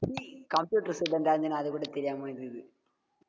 டேய் computer student ஆ இருந்துட்டு அதுகூட தெரியாம இருக்குது